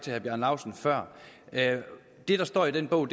herre bjarne laustsen før det der står i den bog